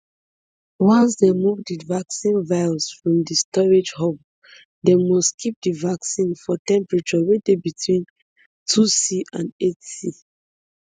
once dem move di vaccine vials from di storage hub dem must keep di vaccine for temperature wey dey between twoc and eightc